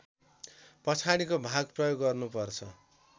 पछाडिको भाग प्रयोग गर्नुपर्छ